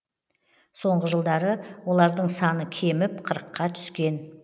соңғы жылдары олардың саны кеміп қырыққа түскен